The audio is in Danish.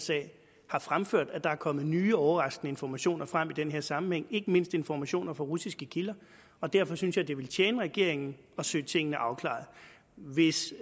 sag har fremført at der er kommet nye overraskende informationer frem i den her sammenhæng ikke mindst informationer fra russiske kilder og derfor synes jeg det ville tjene regeringen at søge tingene afklaret hvis